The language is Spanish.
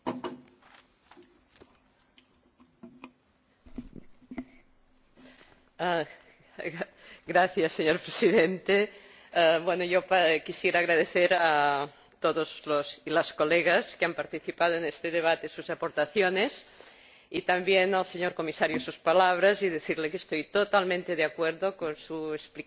Señor Presidente, quisiera agradecer a todas las colegas que han participado en este debate sus aportaciones y también al Señor Comisario sus palabras y decirle que estoy totalmente de acuerdo con su explicación, clarísima, en relación con la cuestión del IVA. Para concluir quisiera decir simplemente